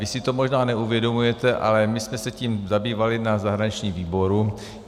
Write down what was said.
Vy si to možná neuvědomujete, ale my jsme se tím zabývali na zahraničním výboru.